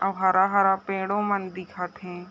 आउ हरा- हरा पेड़ो मन दिखत हे ।